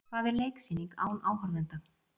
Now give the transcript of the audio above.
Hvað var leiksýning án áhorfenda?